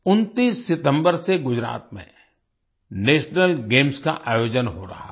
29 सितम्बर से गुजरात में नेशनल गेम्स का आयोजन हो रहा है